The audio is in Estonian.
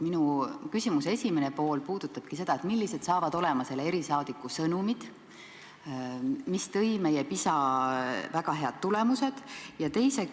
Minu küsimuse esimene pool ongi, millised saavad olema selle erisaadiku sõnumid, mis on taganud meie väga head tulemused PISA testis.